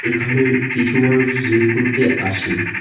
এখানে কিছু মানুষ জিম করতে আসে.